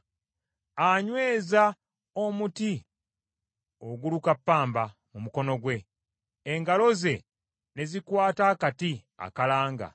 Anyweza omuti oguluka ppamba mu mukono gwe, engalo ze ne zikwata akati akalanga.